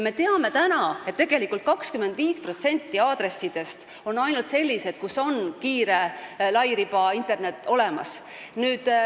Me teame, et tegelikult on ainult 25% aadressidest sellised, kus on kiire internetiühendus olemas.